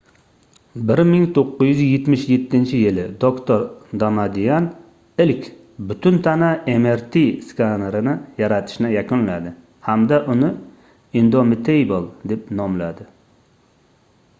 1977-yili doktor damadian ilk butun tana mrt skanerini yaratishni yakunladi hamda uni indomitable deb nomladi